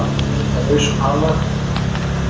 Að leika lausum hala